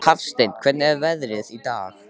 Hafsteinn, hvernig er veðrið í dag?